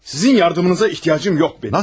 Sizin yardımınıza ehtiyacım yoxdur.